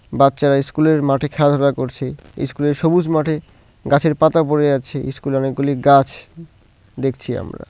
বাচ্চারা ইস্কুলের মাঠে খেলাধুলা করছে ইস্কুলের সবুজ মাঠে গাছের পাতা পড়ে আছে ইস্কুলে অনেকগুলি গাছ দেখছি আমরা।